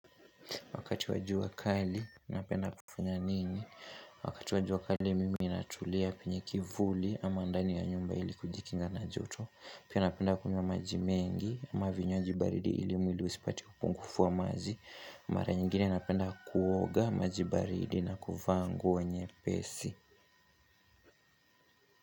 Wakati wa jua kali, napenda kufanya nini? Wakati wa jua kali, mimi ninatulia penye kivuli ama ndani ya nyumba ili kujikinga na joto. Pia napenda kunywa maji mengi, ama vinywaji baridi ili mwili usipate upungufu wa maji. Mara nyingine napenda kuoga na maji baridi na kuvaa nguo nyepesi.